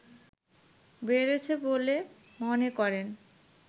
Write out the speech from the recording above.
বেড়েছে বলে মনে করেন